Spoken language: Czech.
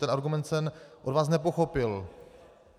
Ten argument jsem od vás nepochopil.